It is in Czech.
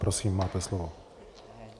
Prosím, máte slovo.